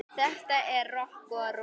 Þetta er rokk og ról.